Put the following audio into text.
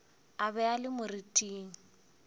a be a le moriting